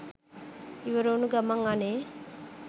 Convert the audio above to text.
ඉවර වුන ගමන් අනේ